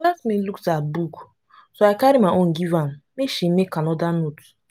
my classmate lose her book so i carry my own give am make she make another note